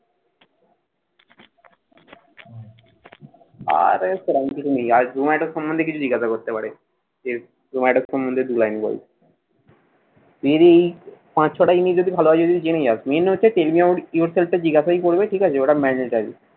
আর কেমন কিছু নেই। আর জ্যুম্যাটো সম্বন্ধে কিছু জিজ্ঞাসা করতে পারে। এর জ্যুম্যাটো সম্বন্ধে দু line বলো। তুই যদি এই পাঁচ ছটা english যদি ভালোভাবে যদি জেনে যাস। main হচ্ছে tell me about yourself টা জিজ্ঞাসাই করবে। ঠিক আছে। ওটা mandatory